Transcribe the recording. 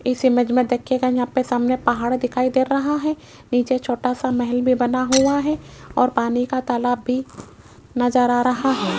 इस इमेज में देखिएगा यहां पे सामने पहाड़ दिखाई दे रहा है नीचे छोटा सा महल भी बना हुआ है और पानी का तालाब भी नजर आ रहा है।